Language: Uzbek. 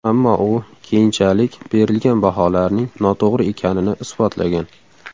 Ammo u keyinchalik berilgan baholarning noto‘g‘ri ekanini isbotlagan.